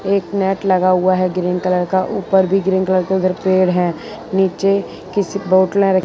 एक मैट लगा हुआ है ग्रीन कलर का ऊपर भी ग्रीन कलर के उधर पेड़ है नीचे किसी बॉटला र --